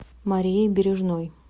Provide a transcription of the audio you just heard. марией бережной